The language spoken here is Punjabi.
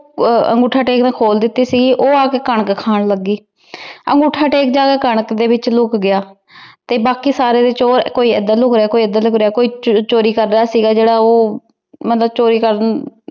ਅਨ੍ਗੋਥਾ ਟੇਕ ਨੇ ਖੋਲ ਦਿਤੀ ਸੀ ਊ ਆ ਕੇ ਖਾਂ ਲਾਗ ਗਾਯ ਅਨ੍ਗੋਥਾ ਟੇਕ ਤਾਂ ਕਨਕ ਦੇ ਵਿਚ ਲੋਕ ਗਯਾ ਤੇ ਬਾਕੀ ਸਾਰੇ ਚੋਰ ਕੋਈ ਏਡ੍ਰ ਲੁਕ ਰਯ ਕੋਈ ਏਡ੍ਰ ਲੁਕ ਰਯ ਤੇ ਬਾਕੀ ਕੋਈ ਜੇਰਾ ਚੋਰੀ ਕਰ ਰਯ ਸੀਗਾ ਊ ਊ ਚੋਰ ਕਰਦਾ